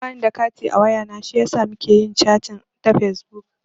Ba ni da kati a wayana shiyasa muka yi chating ta fesbuk.